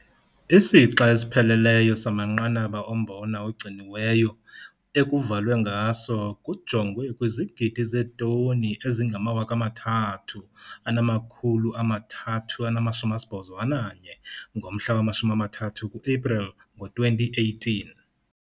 Isixa esipheleleyo samanqanaba ombona ogciniweyo ekuvalwe ngaso kujongwe kwizigidi zeetoni ezi-3,381 ngomhla wama-30 kuEpreli ngo-2018.